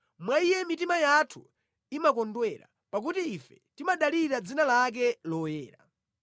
Mwa Iye mitima yathu imakondwera, pakuti ife timadalira dzina lake loyera.